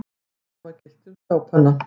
Sama gilti um skápana.